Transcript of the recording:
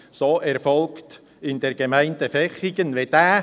Das ist in der Gemeinde Vechigen so erfolgt.